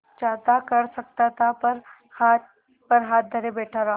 चाहता कर सकता था पर हाथ पर हाथ धरे बैठे रहा